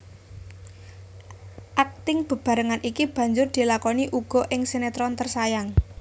Akting bebarengan iki banjur dilakoni uga ing sinetron Tersayang